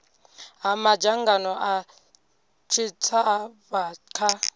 ha madzangano a tshitshavha kha